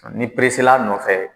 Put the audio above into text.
ni la a nɔfɛ